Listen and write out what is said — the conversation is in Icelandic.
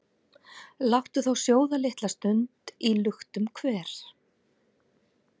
Láttu þá sjóða litla stund í luktum hver,